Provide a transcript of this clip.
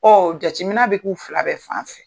jateminɛ bɛ k'u fila bɛɛ fan fɛ